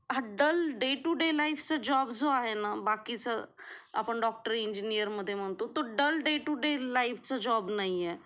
हा dull day to day life चा job जो आहे ना बाकीचा आपण डॉक्टर इंजीनियरमध्ये मग तो डल डे टू डे लाइफचा जॉब नाहीये.